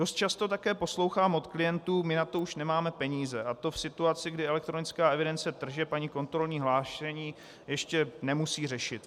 Dost často také poslouchám od klientů "my na to už nemáme peníze", a to v situaci, kdy elektronickou evidenci tržeb ani kontrolní hlášení ještě nemusí řešit.